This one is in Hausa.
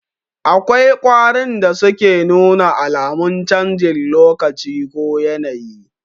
Akwai ƙwarin da suke nuna alamun canjin lokacin ko yanayi